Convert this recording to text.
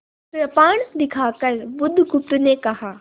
कृपाण दिखाकर बुधगुप्त ने कहा